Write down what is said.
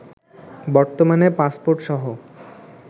বর্তমানে পাসপোর্টসহ